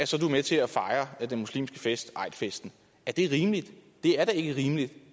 så er med til at fejre den muslimske fest eidfesten er det rimeligt det er da ikke rimeligt